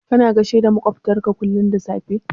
Kana gaishe da maƙwabtanka kullum da safe?